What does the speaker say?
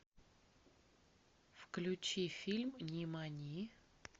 включи фильм нимани